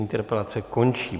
Interpelace končí.